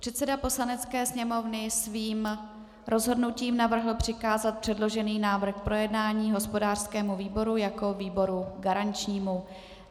Předseda Poslanecké sněmovny svým rozhodnutím navrhl přikázat předložený návrh k projednání hospodářskému výboru jako výboru garančnímu.